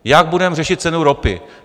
Jak budeme řešit cenu ropy?